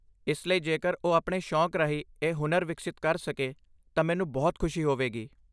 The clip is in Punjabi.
ਇਸ ਲਈ ਜੇਕਰ ਉਹ ਆਪਣੇ ਸ਼ੌਕ ਰਾਹੀਂ ਇਹ ਹੁਨਰ ਵਿਕਸਿਤ ਕਰ ਸਕੇ ਤਾਂ ਮੈਨੂੰ ਬਹੁਤ ਖੁਸ਼ੀ ਹੋਵੇਗੀ।